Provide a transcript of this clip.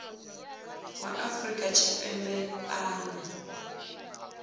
wa afrika tshipembe a ṱo